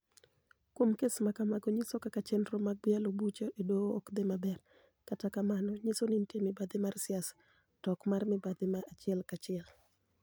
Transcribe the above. Kuom kes ma kamago nyiso kaka chenro mag yalo buche e doho ok dhi maber, kendo mano nyiso ni niitie mibadhi mar siasa, to ok mar mibadhi ma achiel ka chiel' .